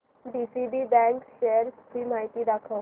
DCB bank च्या shares ची माहिती दाखव